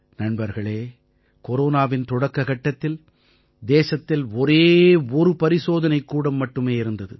நண்பர்களே கொரோனாவின் தொடக்கக் கட்டத்தில் தேசத்தில் ஒரே ஒரு பரிசோதனைக் கூடம் மட்டுமே இருந்தது